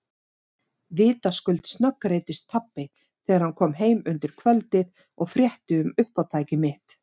Vitaskuld snöggreiddist pabbi þegar hann kom heim um kvöldið og frétti um uppátæki mitt.